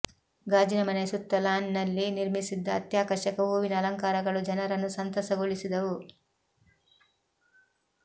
ಗಾಜಿನ ಮನೆಯ ಸುತ್ತ ಲಾನ್ನಲ್ಲಿ ನಿರ್ಮಿಸಿದ್ದ ಅತ್ಯಾಕರ್ಷಕ ಹೂವಿನ ಅಲಂಕಾರಗಳು ಜನರನ್ನು ಸಂತಸಗೊಳಿಸಿದವು